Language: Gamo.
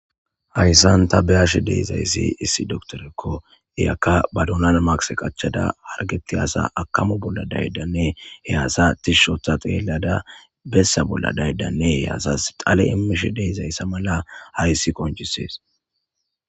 Hayssanta beyash deezayssi issi doktorekko iyakka badunan maqse qachada hargeti asa akamu bolla daydanne he asatis shotha xeellada bessa bolla daydanne he asas xale immish deizayssa mala hayssi qonchisees.